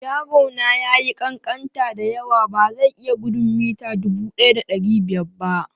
Yaro na ya yi ƙanƙanta da yawa, ba zai iya gudun mita 1500 ba.